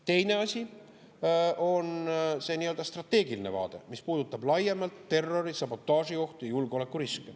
Teine asi on see strateegiline vaade, mis puudutab laiemalt terrori‑, sabotaažiohtu, julgeolekuriske.